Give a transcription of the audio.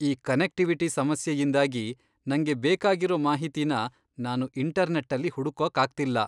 ಈ ಕನೆಕ್ಟಿವಿಟಿ ಸಮಸ್ಯೆಯಿಂದಾಗಿ ನಂಗೆ ಬೇಕಾಗಿರೋ ಮಾಹಿತಿನ ನಾನು ಇಂಟರ್ನೆಟ್ಟಲ್ಲಿ ಹುಡ್ಕೋಕಾಗ್ತಿಲ್ಲ.